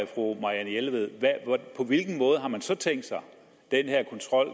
fru marianne jelved på hvilken måde har man så tænkt sig den her kontrol